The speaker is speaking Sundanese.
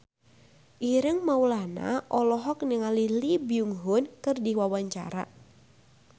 Ireng Maulana olohok ningali Lee Byung Hun keur diwawancara